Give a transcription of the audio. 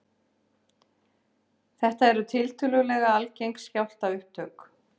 Þetta eru tiltölulega algeng skjálftaupptök